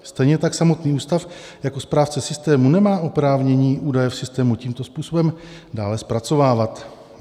Stejně tak samotný ústav jako správce systému nemá oprávnění údaje v systému tímto způsobem dále zpracovávat.